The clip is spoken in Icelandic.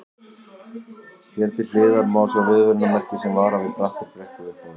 Hér til hliðar má sjá viðvörunarmerki sem varar við brattri brekku upp á við.